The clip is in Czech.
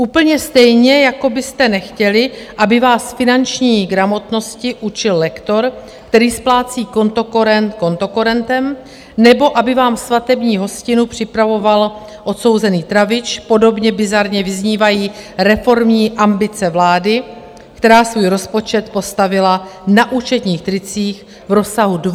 Úplně stejně, jako byste nechtěli, aby vás finanční gramotnosti učil lektor, který splácí kontokorent kontokorentem, nebo aby vám svatební hostinu připravoval odsouzený travič, podobně bizarně vyznívají reformní ambice vlády, která svůj rozpočet postavila na účetních tricích v rozsahu 2 % HDP.